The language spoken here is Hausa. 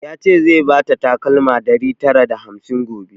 Ya ce zai bata takalma ɗari tara da hamsin gobe